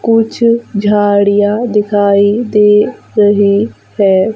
कुछ झाड़ियां दिखाई दे रही है।